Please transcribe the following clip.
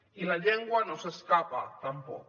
i la llengua no s’escapa tampoc